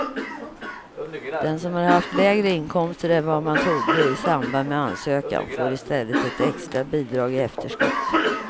Den som har haft lägre inkomster än vad man trodde i samband med ansökan får i stället ett extra bidrag i efterskott.